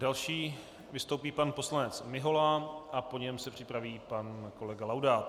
Další vystoupí pan poslanec Mihola a po něm se připraví pan kolega Laudát.